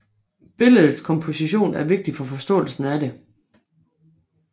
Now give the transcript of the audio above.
Billedets komposition er vigtig for forståelsen af det